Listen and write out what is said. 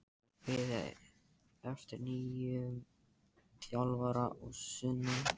Það er beðið eftir nýjum þjálfara að sunnan.